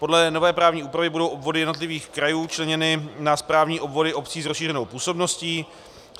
Podle nové právní úpravy budou obvody jednotlivých krajů členěny na správní obvody obcí s rozšířenou působností.